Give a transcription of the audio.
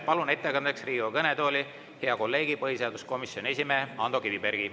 Palun ettekandeks Riigikogu kõnetooli hea kolleegi, põhiseaduskomisjoni esimehe Ando Kivibergi.